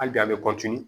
Hali bi a be